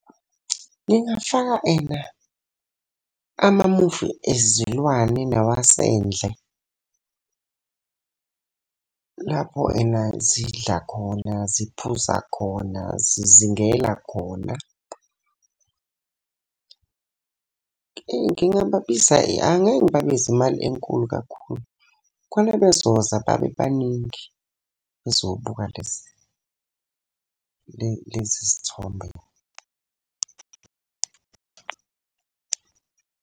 Ngingafaka ena amamuvi ezilwane nawasendle. Lapho ena zidla khona, ziphuza khona, zizingela khona. Eyi ngingabiza, angeke ngibabize imali enkulu kakhulu, khona bezoza babe baningi bezobuka lesi sithombe la.